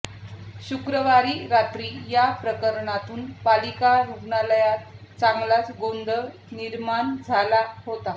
शुक्रवारी रात्री या प्रकरणावरून पालिका रुग्णालयात चांगलाच गोंधळ निर्माण झाला होता